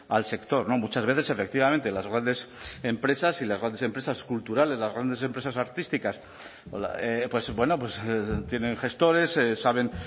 al sector muchas veces efectivamente las grandes empresas y las grandes empresas culturales las grandes empresas artísticas pues bueno tienen gestores saben